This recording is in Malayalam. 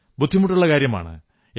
ബുദ്ധിമുട്ടുള്ള കാര്യമാണ്